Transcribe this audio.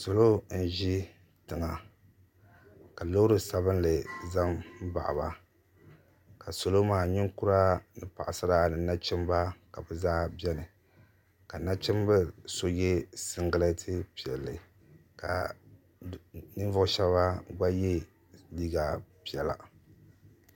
Salo n-ʒi tiŋa ka loori sabinli za m-baɣi ba ka salo maa ninkura ni paɣisara ni nachimba ka zaa beni ka nachimbil' so ye siŋgilɛt' piɛlli ka ninvuɣ' shɛba gba ye neen' piɛla